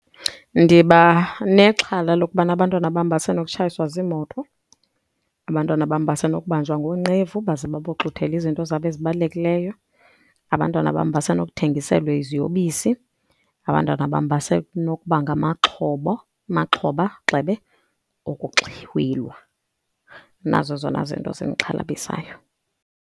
Ndiba nexhala lokubana abantwana bam basenokutshayiswa ziimoto, abantwana bam basenokubanjwa ngoonqevu baze baboxuthele izinto zabo ezibalulekileyo. Abantwana bam basenokuthengiselwa iziyobisi, abantwana bam basenokuba amaxhoba, gxebe, okuxhwilwa. Nazo ezona zinto zindixhalabisayo.